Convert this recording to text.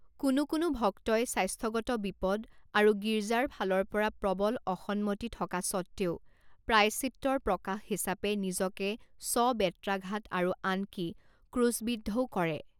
কোনো কোনো ভক্তই স্বাস্থ্যগত বিপদ আৰু গীৰ্জাৰ ফালৰ পৰা প্ৰৱল অসন্মতি থকা স্বত্বেও প্ৰায়শ্চিত্তৰ প্ৰকাশ হিচাপে নিজকে স্ব বেত্ৰাঘাত আৰু আনকি ক্ৰুছবিদ্ধও কৰে।